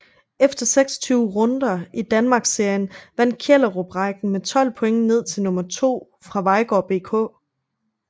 Efter 26 runder i Danmarksserien vandt Kjellerup rækken med 12 point ned til nummer to fra Vejgaard BK